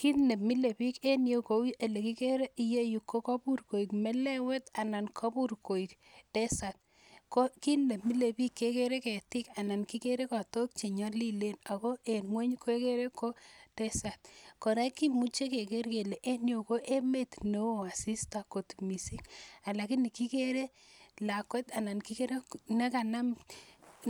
Kiit nemilebik en iyeu kou elekikere iyeyu ko kobur koik melewet anan kobur koik desert, ko kiit nemilebik kekere ketik anan kikere kotok chenyolilen ak ko en ngweny kekere ko desert, kora kimuche keker kelee en yuu ko emet neoo asista kot mising lakini kikere lakwet anan kikere